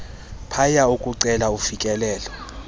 paia ukucela ufikelelo